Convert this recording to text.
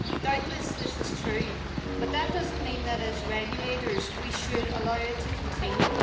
Doubtless this is true but that does not mean that, as regulators, we should allow it to continue.